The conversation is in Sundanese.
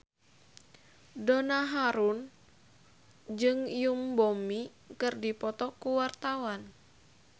Donna Harun jeung Yoon Bomi keur dipoto ku wartawan